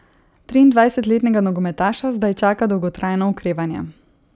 Triindvajsetletnega nogometaša zdaj čaka dolgotrajno okrevanje.